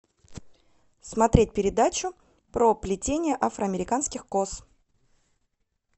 смотреть передачу про плетение афроамериканских кос